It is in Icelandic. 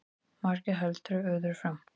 Margir halda öðru fram